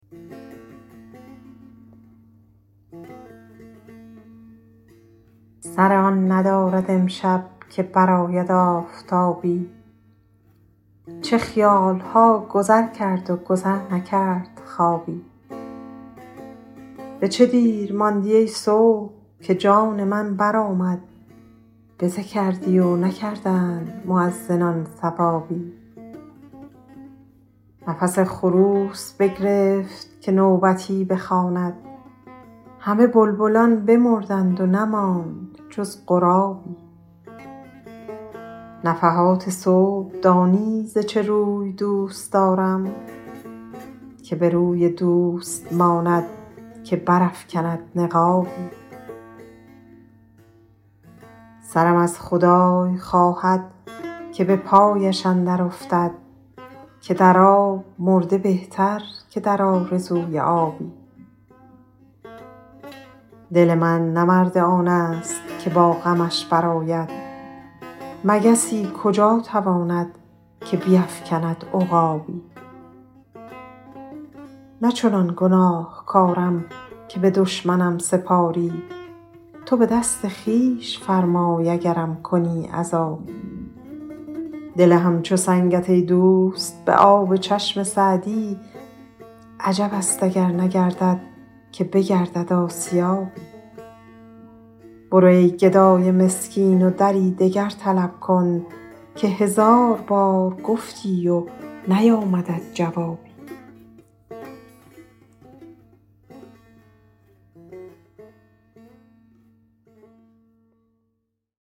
سر آن ندارد امشب که برآید آفتابی چه خیال ها گذر کرد و گذر نکرد خوابی به چه دیر ماندی ای صبح که جان من برآمد بزه کردی و نکردند مؤذنان ثوابی نفس خروس بگرفت که نوبتی بخواند همه بلبلان بمردند و نماند جز غرابی نفحات صبح دانی ز چه روی دوست دارم که به روی دوست ماند که برافکند نقابی سرم از خدای خواهد که به پایش اندر افتد که در آب مرده بهتر که در آرزوی آبی دل من نه مرد آن ست که با غمش برآید مگسی کجا تواند که بیفکند عقابی نه چنان گناهکارم که به دشمنم سپاری تو به دست خویش فرمای اگرم کنی عذابی دل همچو سنگت ای دوست به آب چشم سعدی عجب است اگر نگردد که بگردد آسیابی برو ای گدای مسکین و دری دگر طلب کن که هزار بار گفتی و نیامدت جوابی